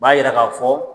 U b'a yira k'a fɔ